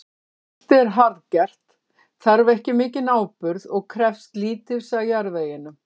Spelti er harðgert, þarf ekki mikinn áburð og krefst lítils af jarðveginum.